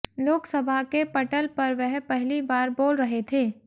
लोकसभा के पटल पर वह पहली बार बोल रहे थे